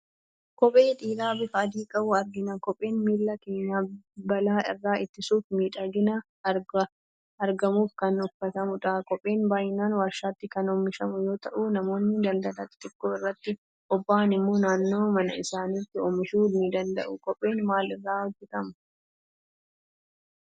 Kophee dhiiraa bifa adii qabu argina. Kopheen miilla keenya balaa irraa ittisuufi miidhaganii argamuuf kan uffatamu dha. Kopheen baayinaan warshaatti kan oomishamu yoo ta'u namoonni daldala xixiqqoo irratti boba'an immoo naannoo mana isaaniitti oomishuu nidanda'uu. Kopheen maal irraa hojettamaa ?